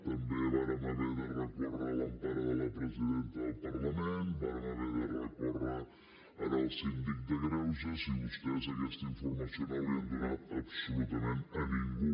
també vàrem haver de recórrer a l’empara de la presidenta del parlament vàrem haver de recórrer al síndic de greuges i vostès aquesta informació no l’han donat absolutament a ningú